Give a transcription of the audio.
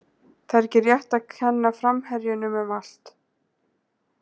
Það er ekki rétt að kenna framherjunum um allt.